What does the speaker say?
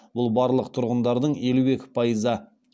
бұл барлық тұрғындардың елу екі пайызы